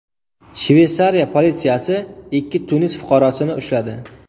Shveysariya politsiyasi ikki Tunis fuqarosini ushladi.